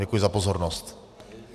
Děkuji za pozornost.